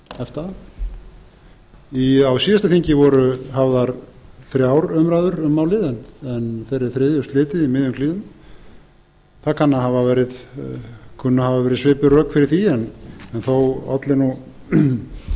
efta á síðasta þingi voru hafðar þrjár umræður um málið en þeirri þriðju slitið í miðjum klíðum það kunna að hafa verið svipuð rök fyrir því en þó olli ef til